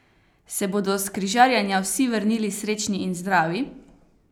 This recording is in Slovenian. Se bodo s križarjenja vsi vrnili srečni in zdravi?